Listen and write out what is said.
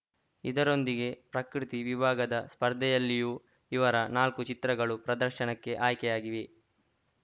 ಇದರೊಂದಿಗೆ ಪ್ರಕೃತಿ ವಿಭಾಗದ ಸ್ಪರ್ಧೆಯಲ್ಲಿಯೂ ಇವರ ನಾಲ್ಕು ಚಿತ್ರಗಳು ಪ್ರದರ್ಶನಕ್ಕೆ ಆಯ್ಕೆಯಾಗಿವೆ